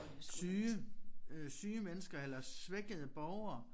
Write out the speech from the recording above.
Syge øh syge mennesker eller svækkede borgere